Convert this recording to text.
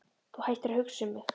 Þú hættir að hugsa um mig.